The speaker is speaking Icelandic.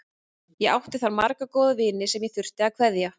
Ég átti þar marga góða vini sem ég þurfti að kveðja.